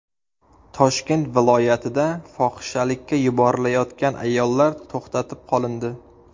Toshkent viloyatida fohishalikka yuborilayotgan ayollar to‘xtatib qolindi.